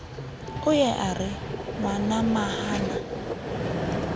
o ye a re ngwanamahana